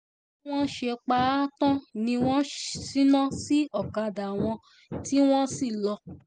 bí wọ́n ṣe pa á tán ni wọ́n ṣínà sí ọ̀kadà wọn tí wọ́n lọ